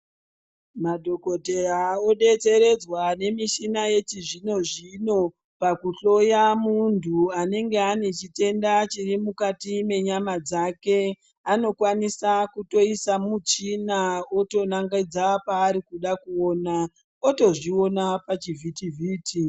Ma dhokoteya o detseredzwa ne michina yechi zvino zvino paku hloya muntu anenge ane chitenda chiri mukati me nyama dzake ano kwanisa kutoisa muchina oto nongedza paari kuda kuona oto zviona pa chivhiti vhiti.